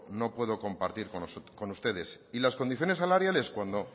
no puedo compartir con ustedes y las condiciones salariales cuando